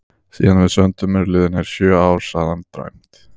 Síðan við sömdum eru liðin heil sjö ár, sagði hann dræmt.